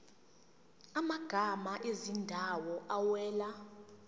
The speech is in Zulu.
amagama ezindawo awela